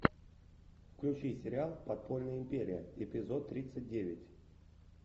включи сериал подпольная империя эпизод тридцать девять